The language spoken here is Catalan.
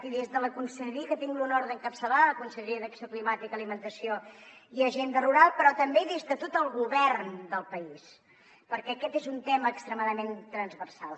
i des de la conselleria que tinc l’honor d’encapçalar la conselleria d’acció climàtica alimentació i agenda rural però també des de tot el govern del país perquè aquest és un tema extremadament transversal